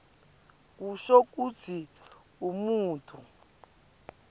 kusho kutsi umuntfu